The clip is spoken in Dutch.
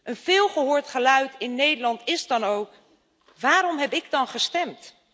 Een veelgehoord geluid in Nederland is dan ook waarom heb ik dan gestemd?